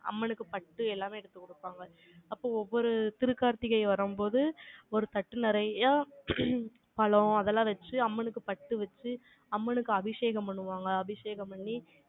அம்மனுக்கு பட்டு, எல்லாமே எடுத்து குடுப்பாங்க. அப்போ, ஒவ்வொரு திருக்கார்த்திகை வரும்போது, ஒரு தட்டு நிறைய பழம், அதெல்லாம் வச்சு, அம்மனுக்கு பட்டு வச்சு, அம்மனுக்கு அபிஷேகம் பண்ணுவாங்க. அபிஷேகம் பண்ணி,